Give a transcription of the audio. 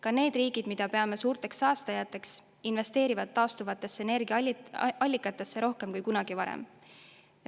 Ka need riigid, mida peame suurteks saastajateks, investeerivad taastuvatesse energiaallikatesse rohkem kui kunagi varem.